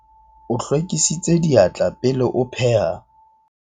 o hlwekisitse diatla pele a pheha